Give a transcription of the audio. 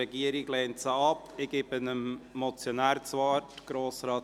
Die Regierung lehnt diese Motion ab.